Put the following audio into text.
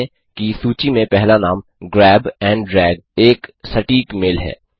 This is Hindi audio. ध्यान दें कि सूची में पहला नाम ग्रैब एंड ड्रैग एक सटीक मेल है